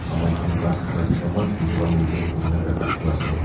Saman khan ghas khan rakhina na eman sundor pra maintain kurina rakhina ase.